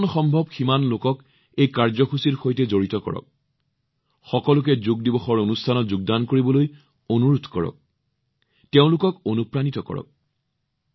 যিমান সম্ভৱ সিমান লোকক সাক্ষাৎ কৰক সকলোকে যোগ দিৱস অনুষ্ঠানত যোগদান কৰিবলৈ অনুৰোধ কৰক তেওঁলোকক অনুপ্ৰাণিত কৰক